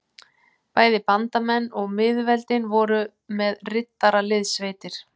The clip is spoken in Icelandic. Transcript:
Bæði bandamenn og miðveldin voru með riddaraliðssveitir.